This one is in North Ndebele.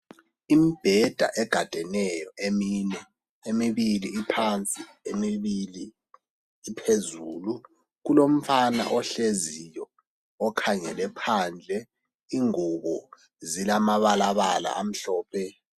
Imbheda egadeneyo emine, emibili iphansi , emibili iphezulu. Kulomfana ohleziyo okhangele phandle. Ingubo zilamabalabala amhlophe.